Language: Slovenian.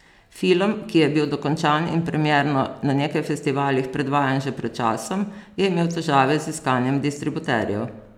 Film, ki je bil dokončan in premierno na nekaj festivalih predvajan že pred časom, je imel težave z iskanjem distributerjev.